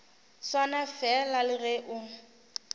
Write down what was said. swana fela le ge o